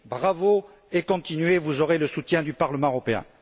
Bravo, et continuez, vous aurez le soutien du Parlement européen.